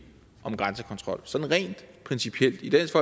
om grænsekontrol sådan rent principielt i dansk